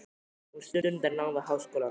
Hún stundar nám við háskólann.